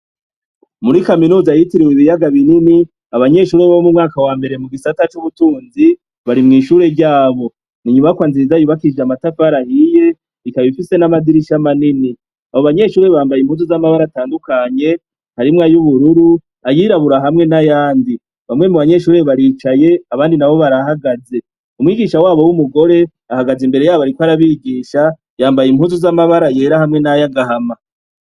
Muri kaminuza yitiriwe ibiyaga binini abanyeshurie bo mu mwaka wa mbere mu gisata c'ubutunzi bari mw'ishure ryabo ninyubakwa nziza yubakije amatafar ahiye ikaba ifise n'amadirisha manini abo banyeshuri bambaye imbuzu z'amabara atandukanye harimwe ay'ubururu ayira aburahamwe n'ayandi bamwe mu banyeshurire baricaye abandi na bo barahagaze umwigisha wabo w'umugore ahagaze imbere yabo, ariko arabigisha yambaye impuzu z'amabara yera hamwe n'ayo agahama.